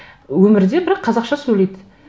өмірде бірақ қазақша сөйлейді